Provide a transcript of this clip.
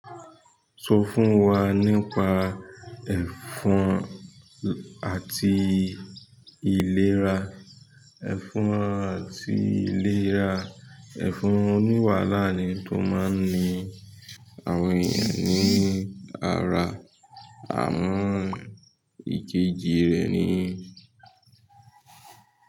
Sọ fún wa nípa ẹfun àti ìlera. Ẹ̀fọn àti ìlera ẹ̀fọn oní wàhálà ni t'ó máa ń ni àwọn ènìyàn ní ara. Àwọn ìjeje rẹ̀ ni.